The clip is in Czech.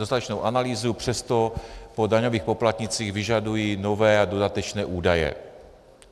dostatečnou analýzu, přesto po daňových poplatnících vyžadují nové a dodatečné údaje.